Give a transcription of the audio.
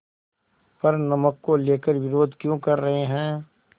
पर नमक को लेकर विरोध क्यों कर रहे हैं